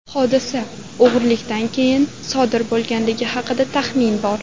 Hodisa o‘g‘rilikdan keyin sodir bo‘lganligi haqida taxmin bor.